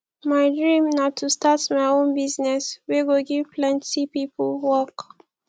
my dream na to start my own business wey go give plenty people work